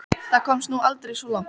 Það komst nú aldrei svo langt.